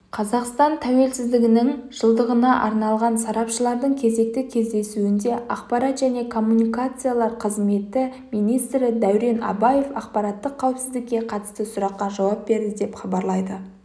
қазақстан тәуелсіздігінің жылдығына арналған сарапшылардың кезекті кездесуінде ақпарат және коммуникациялар министрі дәурен абаев ақпараттық қауіпсіздікке қатысты сұраққа жауап берді деп іабарлайды